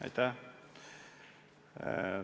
Aitäh!